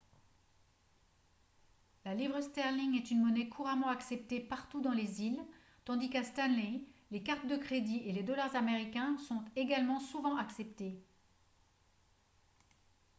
la livre sterling est une monnaie couramment acceptée partout dans les îles tandis qu'à stanley les cartes de crédit et les dollars américains sont également souvent acceptés